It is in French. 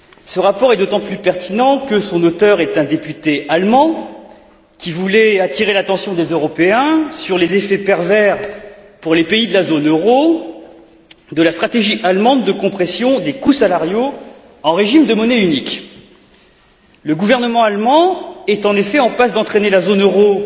Ce rapport est d'autant plus pertinent que son auteur est un député allemand, qui voulait attirer l'attention des Européens sur les effets pervers, pour les pays de la zone euro, de la stratégie allemande de compression des coûts salariaux en régime de monnaie unique. Le gouvernement allemand est en effet en passe d'entraîner la zone euro